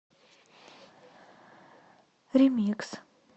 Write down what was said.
ремикс